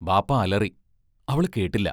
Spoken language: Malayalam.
ബാപ്പാ അലറി: അവളു കേട്ടില്ല!